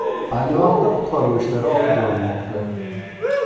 Ayni vaqtda qutqaruv ishlari olib borilmoqda.